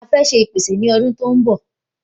A fẹ́ ṣe ipese ni ọdún tó n bọ